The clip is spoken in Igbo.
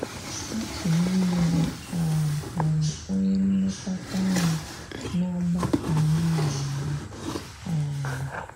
Otu n’ime ha um ghọrọ onye nlekọta anya n’ọgbakọ m nọ na ya um.